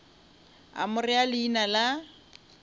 a mo rea leina la